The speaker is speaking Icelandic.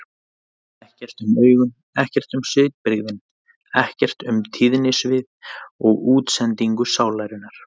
Ekkert um augun, ekkert um svipbrigðin, ekkert um tíðnisvið og útsendingu sálarinnar.